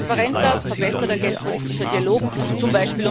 Ein transparenter, verbesserter geldpolitischer Dialog, z.